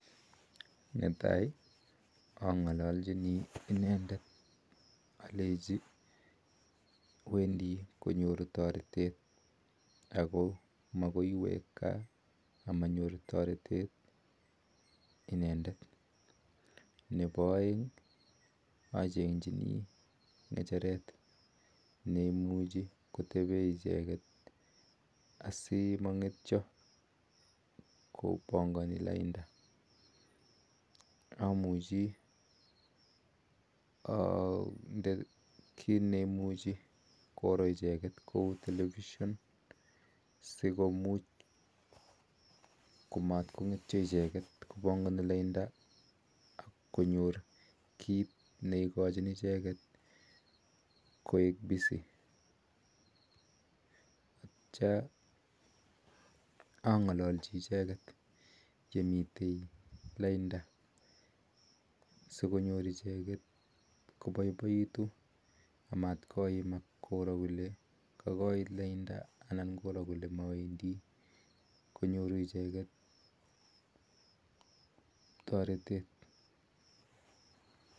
Netai angalachin inendeet akalenjii nyoruu taritet nepo aeek achengee kacheret sikotepee simangetyoo kominee lainndaa nepo somok achengchinii telepishan sikokachi ichegeet koek busy kityoo sikonyor icheget kolee kakoiit laindaaaa